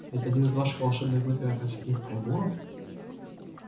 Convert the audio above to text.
это один из ваших волшебных злых и отвратительных приборов